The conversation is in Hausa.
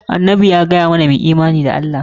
Annabi ya gaya mana mu yi imani da Allah.